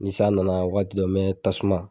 Ni san nana wagati dɔ n mɛ tasuma